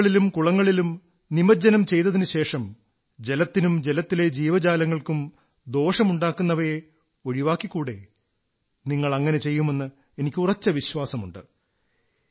നദികളിലും കുളങ്ങളിലും നിമഞ്ജനം ചെയ്തതിനുശേഷം ജലത്തിനും ജലത്തിലെ ജീവജാലങ്ങൾക്കും ദോഷമുണ്ടാക്കുന്നവയെ ഒഴിവാക്കിക്കൂടേ നിങ്ങളങ്ങനെ ചെയ്യുമെന്ന് എനിക്ക് ഉറച്ച വിശ്വാസമുണ്ട്